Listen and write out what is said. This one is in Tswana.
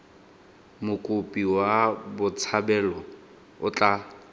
mokopi wa botshabelo o tla